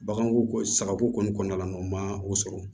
Baganko kɔni sagako kɔni kɔɔna la u ma o sɔrɔ